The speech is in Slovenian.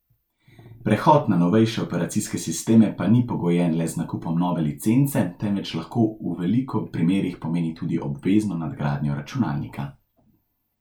Prehod na novejše operacijske sisteme pa ni pogojen le z nakupom nove licence, temveč lahko v veliko primerih pomeni tudi obvezno nadgradnjo računalnika.